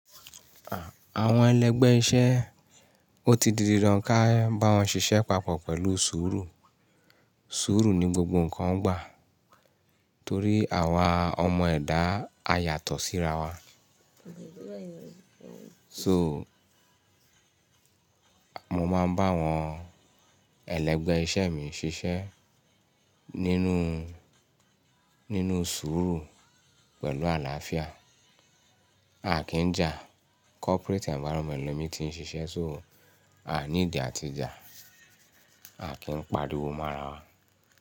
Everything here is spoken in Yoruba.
À, àwọn ẹlẹgbẹ́ iṣẹ́, ó ti di dandan ká bá wọn ṣiṣẹ́ papọ̀ pẹ̀lú sùúrù. Sùúrù ni gbogbo nǹkan gba torí àwa ọmọ ẹ̀dá a yàtọ̀ síra wa. So, mo máa ń bá àwọn ẹlẹgbẹ́ iṣẹ́ mi ṣiṣẹ́ nínú, nínú sùúrù pẹ̀lú àlàáfíà. A kìn jà, corporate environment le mí ti ń ṣiṣẹ́, so a need àti jà, a kìn pàríwo mọ́ ara wa.